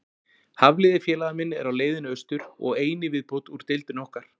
Hafliði félagi minn er á leiðinni austur, og ein í viðbót úr deildinni okkar.